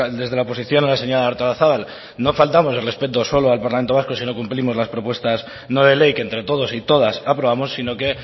desde la oposición a la señora artolazabal no faltamos el respeto solo al parlamento vasco si no cumplimos las propuestas no de ley que entre todos y todas aprobamos sino que